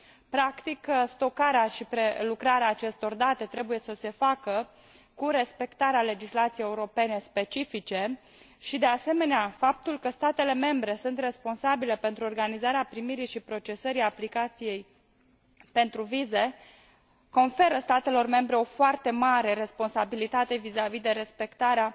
Practic, stocarea și prelucrarea acestor date trebuie să se facă cu respectarea legislației europene specifice și, de asemenea, faptul că statele membre sunt responsabile pentru organizarea primirii și procesării aplicației pentru vize conferă statelor membre o foarte mare responsabilitate vis a vis de respectarea